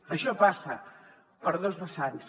això passa per dos vessants